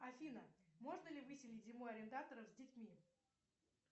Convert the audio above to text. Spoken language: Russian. афина можно ли выселить зимой арендаторов с детьми